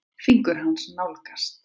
Fingur hans nálgast.